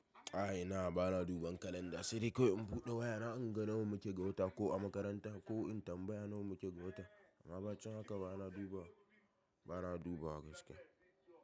A'a, ina ba na duban kalanda, sai dai kawai in buɗe waya na in ga nawa muke gawata ko a makaranta ko in tambaya nawa muke gawata. Amma bacin haka ba na dubawa, ba na dubawa gaske.